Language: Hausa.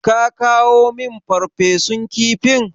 Ka kawo min Farfesun kifin?